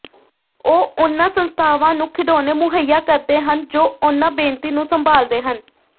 ਉਹ ਉਹਨਾਂ ਸੰਸਥਾਵਾਂ ਨੂੰ ਖਿਡੌਣੇ ਮੁਹਈਆ ਕਰਦੇ ਹਨ ਜੋ ਉਹਨਾਂ ਬੇਨਤੀ ਨੂੰ ਸੰਭਾਲਦੇ ਹਨ